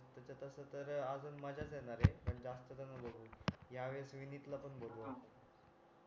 तिथे तस तर अजून माझ्याच येणार आहे पण जास्त जन बघू ह्या वेळेस विनीत ला पण बोलवू आपण